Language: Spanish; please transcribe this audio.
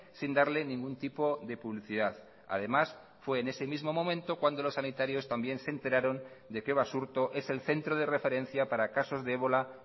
sin darle ningún tipo de publicidad además fue en ese mismo momento cuando los sanitarios también se enteraron de que basurto es el centro de referencia para casos de ébola